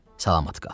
Salamat qal.